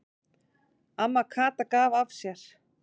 Amma Kata gaf af sér.